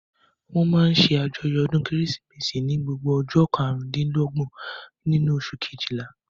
Wọ́n máa n ṣe àjọyọ̀ ọdún kérésìmesì ní gbogbo ọjọ́ karùn-dín-lọ́gbọ̀n nínú oṣù kejìlá